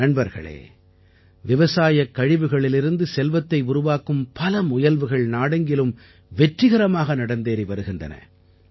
நண்பர்களே விவசாயக் கழிவுகளிலிருந்து செல்வத்தை உருவாக்கும் பல முயற்சிகள் நாடெங்கிலும் வெற்றிகரமாக நடந்தேறி வருகின்றன